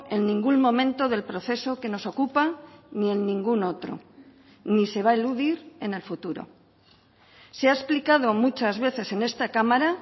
en ningún momento del proceso que nos ocupa ni en ningún otro ni se va a eludir en el futuro se ha explicado muchas veces en esta cámara